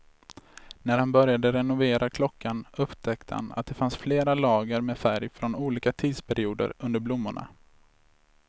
När han började renovera klockan upptäckte han att det fanns flera lager med färg från olika tidsperioder under blommorna.